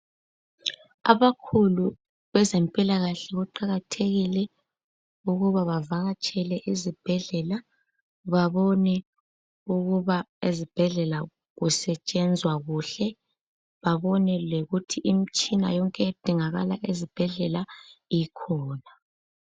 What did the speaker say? âbakhulu bezempilakahle kuqakathekile ukuba bavakatshele ezibhedlela babone ukuba ezibhedlela kusetshenzwa kuhle babone lokuthi imtshina yonke edingakala ezibhedlela ikhona